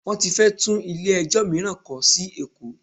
Wọ́n ti fẹ́ tún ilé ẹjọ́ mìíràn kọ́ sí Èkó.